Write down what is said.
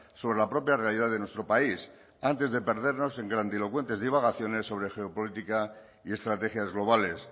sobre la propia realidad de nuestro país antes de perdernos en grandilocuentes divagaciones sobre geopolítica y estrategias globales